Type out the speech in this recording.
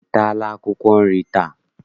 Ị taala akwụkwọ nri taa?